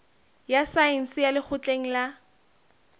ya saense ya lekgotleng la